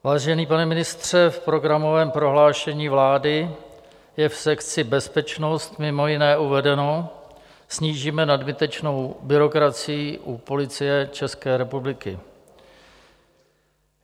Vážený pane ministře, v programovém prohlášení vlády je v sekci Bezpečnost mimo jiné uvedeno: Snížíme nadbytečnou byrokracii u Policie České republiky.